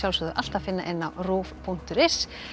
alltaf finna á rúv punktur is